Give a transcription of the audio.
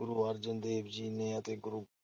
ਗੁਰੂ ਅਰਜਨ ਦੇਵ ਜੀ ਨੇ ਅਤੇ